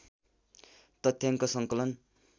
तथ्याङ्क सङ्कलन